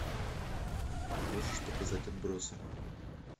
можешь показать отбросы